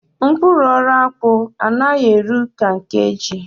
Mkpụrụ ọrụ akpụ anaghi eru ka nke ji.